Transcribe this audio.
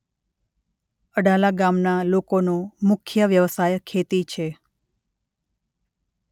અડાલા ગામના લોકોનો મુખ્ય વ્યવસાય ખેતી છે.